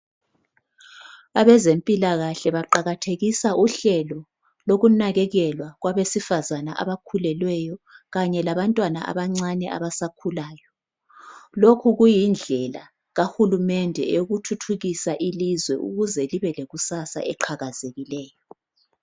Abezempilakahle baqakathekisa uhlelo lokunakelelwa kwabesifazana abakhulelweyo Kanye labantwana abancane abasakhulayo .Lokhu kuyindlela kahulumende eyokuthuthukisa ilizwe ukuze libe lekusasa eqhakazekileyo .